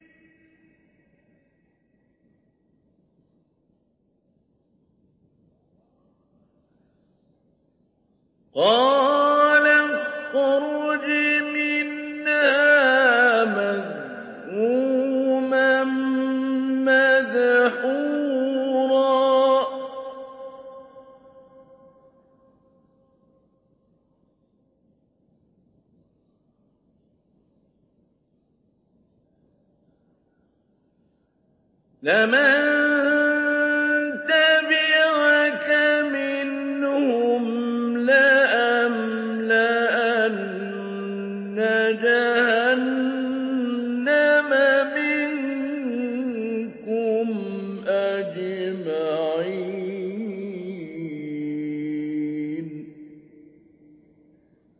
قَالَ اخْرُجْ مِنْهَا مَذْءُومًا مَّدْحُورًا ۖ لَّمَن تَبِعَكَ مِنْهُمْ لَأَمْلَأَنَّ جَهَنَّمَ مِنكُمْ أَجْمَعِينَ